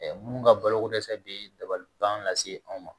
minnu ka boloko dɛsɛ bɛ dabaliban lase anw ma